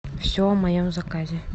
все о моем заказе